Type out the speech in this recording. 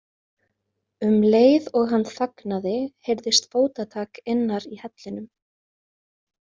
Um leið og hann þagnaði heyrðist fótatak innar í hellinum.